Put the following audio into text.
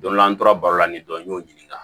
Don dɔ la an tora baro la nin dɔ y'o ɲininka